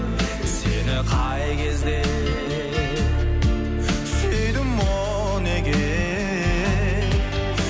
сені қай кезде сүйдім о неге